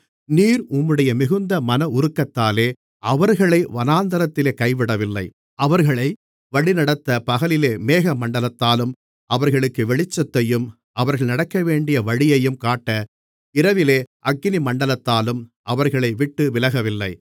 நீர் உம்முடைய மிகுந்த மன உருக்கத்தாலே அவர்களை வனாந்திரத்திலே கைவிடவில்லை அவர்களை வழிநடத்தப் பகலிலே மேகமண்டலத்தாலும் அவர்களுக்கு வெளிச்சத்தையும் அவர்கள் நடக்கவேண்டிய வழியையும் காட்ட இரவிலே அக்கினிமண்டலத்தாலும் அவர்களை விட்டு விலகவில்லை